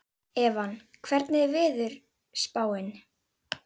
Evan, hvernig er veðurspáin?